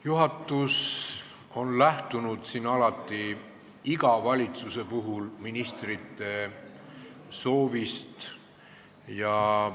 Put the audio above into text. Juhatus on lähtunud alati, iga valitsuse puhul ministrite soovist.